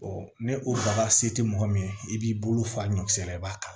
ni o daga se tɛ mɔgɔ min ye i b'i bolo fa ɲɔkisɛ i b'a kala